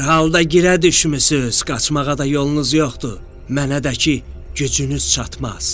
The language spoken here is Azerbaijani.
“Hər halda girə düşmüsüz, qaçmağa da yolunuz yoxdur, mənə də ki, gücünüz çatmaz.